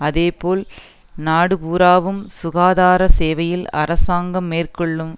அதேபோல் நாடுபூராவும் சுகாதார சேவையில் அரசாங்கம் மேற்கொள்ளும்